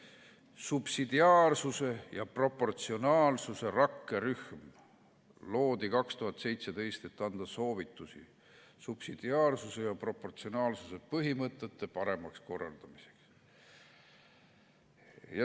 Subsidiaarsuse ja proportsionaalsuse rakkerühm loodi 2017, et anda soovitusi subsidiaarsuse ja proportsionaalsuse põhimõtete paremaks korraldamiseks.